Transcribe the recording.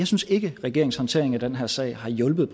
synes ikke regeringens håndtering af den her sag har hjulpet